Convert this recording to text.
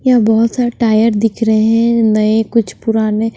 यहां बहुत सारे टायर दिख रहे हैं नए कुछ पुराने--